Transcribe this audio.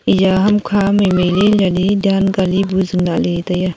eya ham kha mai mai le yali dan ka li bu chu yali tai a.